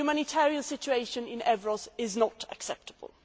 The humanitarian situation in Evros is not acceptable.